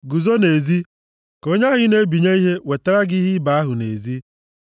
Guzo nʼezi! Ka onye ahụ ị na-ebinye ihe wetara gị ihe ibe ahụ nʼezi.